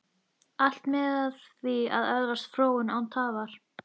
Allt miðar að því að öðlast fróun, án tafar.